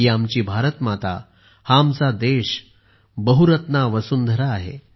ही आमची भारत माता हा आमचा देश बहुरत्ना वसुंधरा आहे